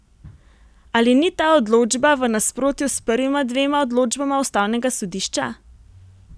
Ali ni ta odločba v nasprotju s prvima dvema odločbama ustavnega sodišča?